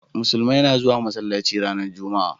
musulmai na zuwa masallaci ranar jumma'a